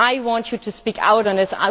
I want you to speak out on this.